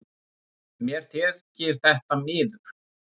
Mér þykir það miður